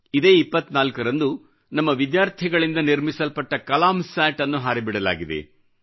ಇದೇ 24 ರಂದು ನಮ್ಮ ವಿದ್ಯಾರ್ಥಿಗಳಿಂದ ನಿರ್ಮಿಸಲ್ಪಟ್ಟ ಕಲಾಮ್ ಸ್ಯಾಟ್ ಅನ್ನು ಹಾರಿ ಬಿಡಲಾಗಿದೆ